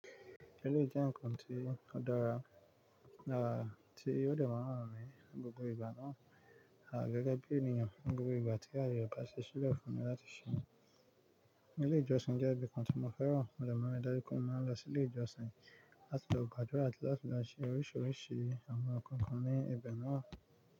Elé yii jẹ́ nkan tí ó dára, dára tí yóò dẹ̀ máa ràn mí ní gbogbo ìgbà náà. À gẹ́gẹ́ bí ènìyàn, ní gbogbo ìgbà tí aye bá ṣe sílẹ̀ fún mi láti ṣe ẹ̀. Ilé ìjọsìn jẹ́ ibi kan tí mo fẹ́ràn, mo dẹ̀ mọ́ ìdájú pé mo máa ń lọ sí ilé ìjọsìn láti lọ gbàdúrà àti láti lọ ṣe oríṣiríṣi àwọn nǹkan kan ní ibẹ̀ náà.